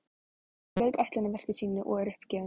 Hún lauk ætlunarverki sínu og er uppgefin.